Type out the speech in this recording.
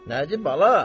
Nədir bala?